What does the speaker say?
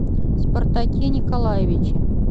спартаке николаевиче